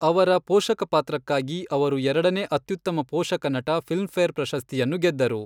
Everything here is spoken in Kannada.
ಅವರ ಪೋಷಕ ಪಾತ್ರಕ್ಕಾಗಿ ಅವರು ಎರಡನೇ ಅತ್ಯುತ್ತಮ ಪೋಷಕ ನಟ ಫಿಲ್ಮ್ ಫೇರ್ ಪ್ರಶಸ್ತಿಯನ್ನು ಗೆದ್ದರು.